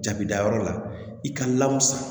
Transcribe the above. Jabida yɔrɔ la i ka lawusa